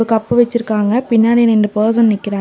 Cup வெச்சுருக்காங்க பின்னாடி நெண்டு பர்சன் நிக்கிறாங்க.